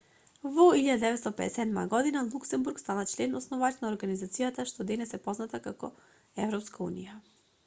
во 1957 година луксембург стана член основач на организацијата што денес е позната како европска унија